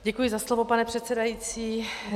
Děkuji za slovo, pane předsedající.